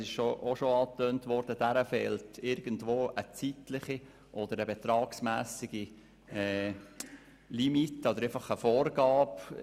Aber wie bereits angetönt, fehlt dieser eine zeitliche oder betragsmässige Vorgabe.